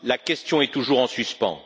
La question est toujours en suspens.